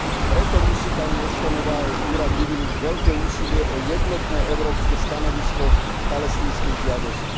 Preto musí pani Ashtonová a jej úrad vyvinúť veľké úsilie o jednotné európske stanovisko k palestínskej žiadosti.